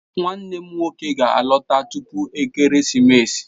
Nwannem nwoke ga-alọta tupu ekeresimesi.